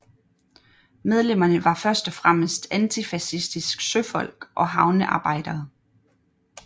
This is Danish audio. Medlemmerne var først og fremmest antifascistisk søfolk og havnearbejdere